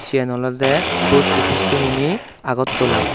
siyan olodey post office sumoni agartala.